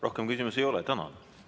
Rohkem küsimusi ei ole.